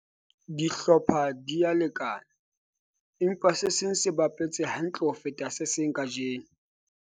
dihlopha di a lekana empa se seng se bapetse hantle ho feta se seng kajeno